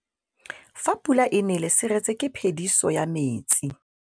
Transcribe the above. Fa pula e nelê serêtsê ke phêdisô ya metsi.